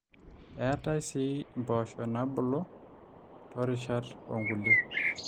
eetai sii impoosho naabulu toorishat oonkulie